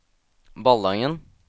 Ballangen